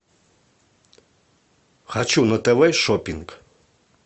хочу на тв шоппинг